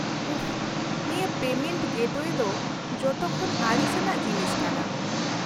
-ᱩᱯᱷ, ᱱᱤᱭᱟᱹ ᱯᱮᱢᱮᱱᱴ ᱜᱮᱴᱳᱭᱮ ᱫᱚ ᱡᱚᱛᱚᱠᱷᱚᱱ ᱟᱹᱲᱤᱥᱟᱱᱟᱜ ᱡᱤᱱᱤᱥ ᱠᱟᱱᱟ ᱾